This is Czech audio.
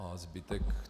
A zbytek?